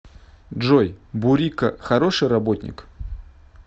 джой бурико хороший работник